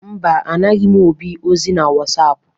Mba, anaghị m Obi ozi na Wasapụ.